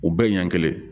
U bɛɛ ɲɛ kelen